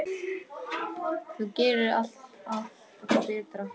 Þú gerðir alltaf allt betra.